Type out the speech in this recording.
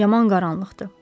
Yaman qaranlıqdır.